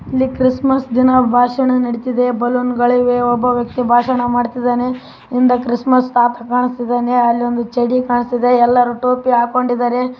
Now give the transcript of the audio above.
ಇಲ್ಲಿ ಕ್ರಿಸ್‌ಮಸ್‌ ದಿನ ಭಾಷಣ ನಡಿಯುತ್ತಿದೆ ಬಲೂನ್‌ ಗಳಿವೆ ಒಬ್ಬ ವ್ಯಕ್ತಿ ಭಾಷಣ ಮಾಡುತ್ತಿದ್ದಾನೆ ಹಿಂದೇ ಕ್ರಿಸ್‌ಮಸ್‌ ತಾತಪ್ಪ ನಿಂತಿದ್ದಾನೆ. ಅಲ್ಲಿ ಒಂದು ಚಡಿ ಕಾಣಿಸ್ತಾ ಇದೆ ಎಲ್ಲರೂ ಟೋಪಿ ಹಾಕಿಕೊಂಡಿದ್ದಾರೆ.